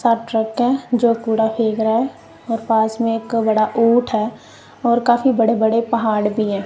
सात ट्रक है जो कूड़ा फेक रहा है और पास में एक बड़ा ऊंट है और काफी बड़े बड़े पहाड़ भी हैं।